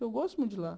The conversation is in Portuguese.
Eu gosto muito de lá.